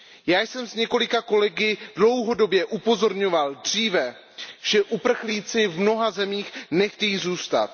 Já jsem s několika kolegy dlouhodobě upozorňoval již dříve, že uprchlíci v mnoha zemích nechtějí zůstat.